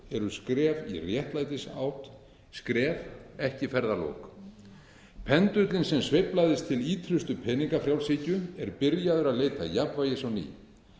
fólk er skref í réttlætisátt skref ekki ferðalok pendúllinn sem sveiflaðist til ýtrustu peningafrjálshyggju er byrjaður að leita jafnvægis á ný